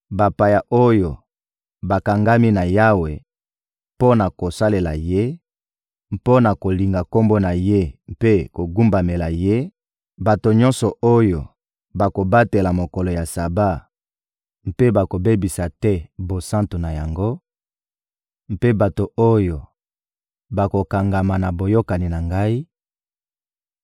Bapaya oyo bakangami na Yawe mpo na kosalela Ye, mpo na kolinga Kombo na Ye mpe kogumbamela Ye, bato nyonso oyo bakobatela mokolo ya Saba mpe bakobebisa te bosantu na yango, mpe bato oyo bakokangama na boyokani na Ngai;